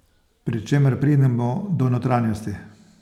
Pri čemer pridemo do notranjosti.